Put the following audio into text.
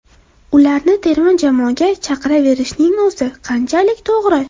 Ularni terma jamoaga chaqiraverishning o‘zi qanchalik to‘g‘ri?